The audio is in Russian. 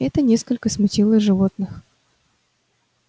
это несколько смутило животных